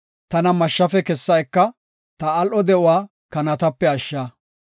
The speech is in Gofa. Tana mashshafe kessa eka; ta al7o de7uwa kanatape ashsha.